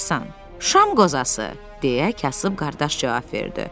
Şam qozası deyə kasıb qardaş cavab verdi.